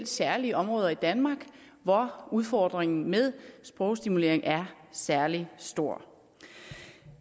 særlige områder i danmark hvor udfordringen med sprogstimulering er særlig stor